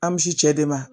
An bɛ si cɛ de ma